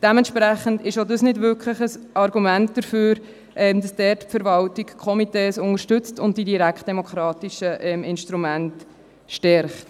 Dementsprechend ist auch dies kein wirkliches Argument dagegen, dass die Verwaltung dort die Komitees unterstützt und die direktdemokratischen Instrumente stärkt.